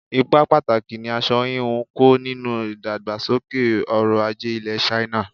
Ipa pàtàkì ni aṣọ hínú ń kó nínú ìdàgbàsókè ọrọl-ajé ilẹ̀ China.